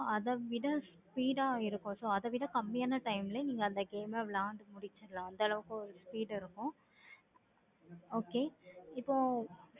four G use பண்ணும் போது நீங்க ஒரு game play பண்றிங்க online ல அப்படின்னா என்ன time செலவாகுது அத விட speed இருக்கும். okay இப்போ